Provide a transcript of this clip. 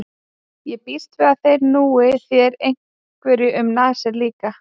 Ég býst við að þeir núi þér einhverju um nasir líka?